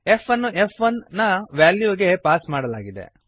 f ಅನ್ನು ಫ್1 ನ ವ್ಯಾಲ್ಯೂಗೆ ಪಾಸ್ ಮಾಡಲಾಗಿದೆ